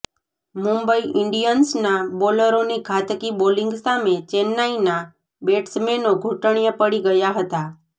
મુંબઈ ઈન્ડિયન્સના બોલરોની ઘાતકી બોલિંગ સામે ચેન્નાઈના બેટ્સમેનો ઘૂંટણિયે પડી ગયા હતા